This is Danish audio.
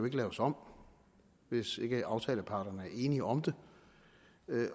ikke laves om hvis ikke aftaleparterne er enige om det